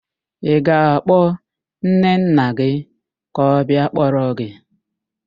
Ị ga-akpọ nnenna gị ka ọ bịa kpọrọ gị?